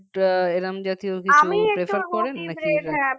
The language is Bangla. তো এ কম জাতীয় কিছু prefer করে নাকি